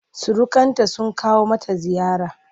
Surukanta sun kawo mata ziyara.